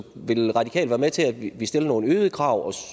vil de radikale være med til at vi stiller nogle øgede krav